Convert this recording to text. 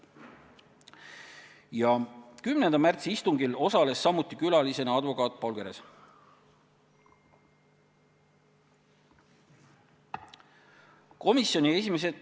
Ka 10. märtsi istungil osales külalisena advokaat Paul Keres.